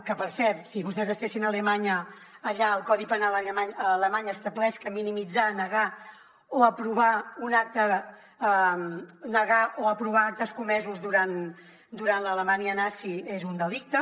que per cert si vostès estiguessin a alemanya allà el codi penal alemany estableix que minimitzar negar o aprovar actes comesos durant l’alemanya nazi és un delicte